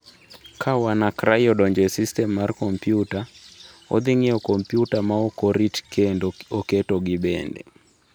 Ka WannaCry odonjo e sistem mar kompyuta, odhi ng’iewo kompyuta ma ok orit kendo oketogi bende.